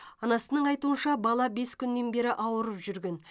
анасының айтуынша бала бес күннен бері ауырып жүрген